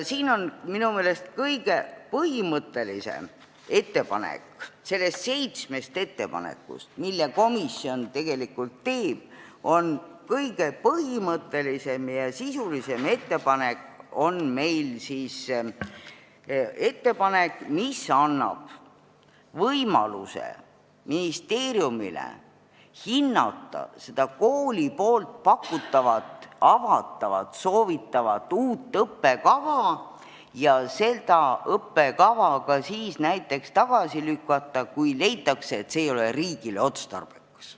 Siin on minu meelest kõige põhimõttelisem ja sisulisem ettepanek nendest seitsmest, mille komisjon teeb, see ettepanek, mis annab võimaluse ministeeriumile hinnata seda kooli pakutavat, avatavat, soovitavat uut õppekava ja seda ka tagasi lükata, näiteks siis, kui leitakse, et see ei ole riigile otstarbekas.